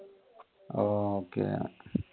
okay